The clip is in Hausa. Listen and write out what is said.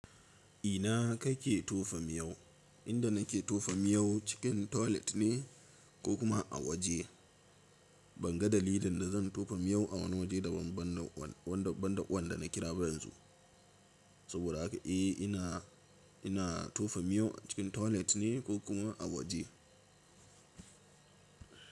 Ina kake tofa miyo? Inda nake tofa miyo cikin toilet ne ko kuma a waje. Ban ga dalilin da zan tofa miyo a wani waje daban banda wanda na kira ba yanzu. Saboda haka eh, ina, ina tofa miyo a cikin toilet ne ko kuma a waje.